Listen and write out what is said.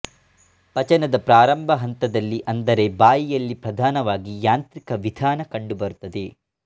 ಪಚನದ ಪ್ರಾರಂಭ ಹಂತದಲ್ಲಿ ಅಂದರೆ ಬಾಯಿಯಲ್ಲಿ ಪ್ರಧಾನವಾಗಿ ಯಾಂತ್ರಿಕ ವಿಧಾನಕಂಡುಬರುತ್ತದೆ